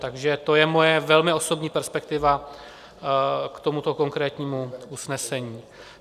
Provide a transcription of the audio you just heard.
Takže to je moje velmi osobní perspektiva k tomuto konkrétnímu usnesení.